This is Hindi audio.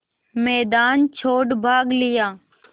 मैदान छोड़ भाग लिया